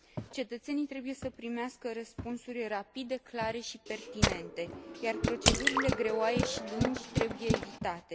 Cetățenii trebuie să primească răspunsuri rapide, clare și pertinente, iar procedurile greoaie și lungi trebuie evitate.